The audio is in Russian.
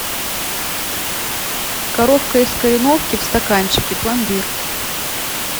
коровка из кореновки в стаканчике пломбир